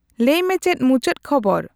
ᱞᱟᱹᱭ ᱢᱮ ᱪᱮᱫ ᱢᱩᱪᱟᱹᱫ ᱠᱷᱚᱵᱚᱨ